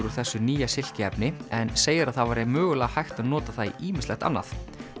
úr þessu nýja en segir að það væri mögulega hægt að nota það í ýmislegt annað